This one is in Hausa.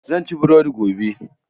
Zan ci burodi gobe.